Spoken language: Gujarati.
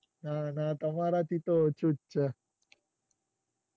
અને તમારા થી તો ઓછું જ છે.